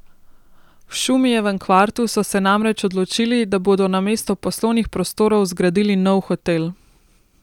V Šumijevem kvartu so se namreč odločili, da bodo namesto poslovnih prostorov zgradili nov hotel.